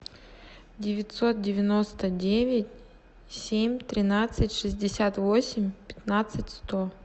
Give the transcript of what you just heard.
девятьсот девяносто девять семь тринадцать шестьдесят восемь пятнадцать сто